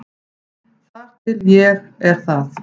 Þar til er það ég.